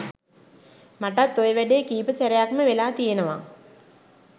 මටත් ඔය වැඩේ කීප සැරයක්ම වෙලා තියෙනවා